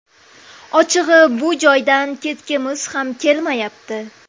Ochig‘i, bu joydan ketgimiz ham kelmayapti.